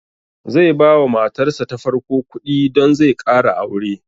Zai ba wa matar sa ta farko kuɗi don zai ƙara aure